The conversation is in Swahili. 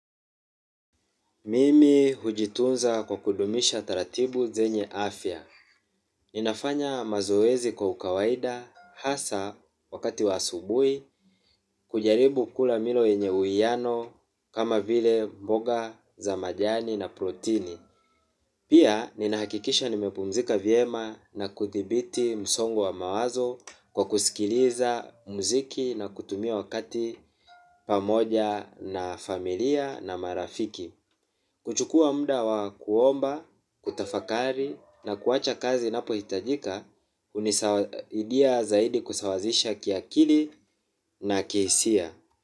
Mimi hujitunza kwa kudumisha taratibu zenye afya. Ninafanya mazoezi kwa ukawaida hasa wakati wa asubuhi, kujaribu kula milo enye uwiano kama vile mboga za majani na protini. Pia, nina hakikisha nimepumzika vyema na kuthibiti msongo wa mawazo kwa kusikiliza muziki na kutumia wakati pamoja na familia na marafiki. Kuchukua muda wa kuomba, kutafakari na kuwacha kazi ninapo hitajika, hunisaidia zaidi kusawazisha kiakili na kihisia.